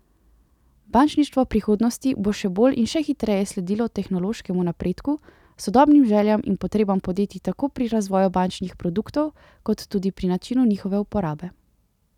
Bančništvo prihodnosti bo še bolj in še hitreje sledilo tehnološkemu napredku, sodobnim željam in potrebam podjetij tako pri razvoju bančnih produktov kot tudi pri načinu njihove uporabe.